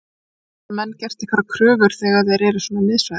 En geta menn gert einhverjar kröfur þegar menn eru svo miðsvæðis?